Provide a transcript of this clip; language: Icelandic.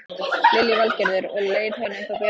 Lillý Valgerður: Og leið honum þá betur?